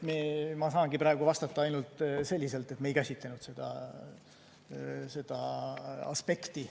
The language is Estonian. Ma saangi praegu vastata ainult selliselt, et me ei käsitlenud seda aspekti.